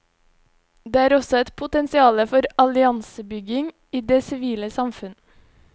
Det er også et potensiale for alliansebygging i det sivile samfunn.